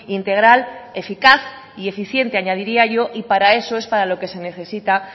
integral eficaz y eficiente añadiría yo y para eso es para lo que se necesita